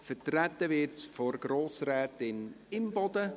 Vertreten wird es von Grossrätin Imboden.